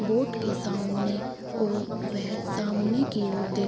boat के सामने और वह सामने की ओर देख --